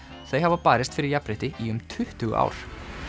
þau hafa barist fyrir jafnrétti í um tuttugu ár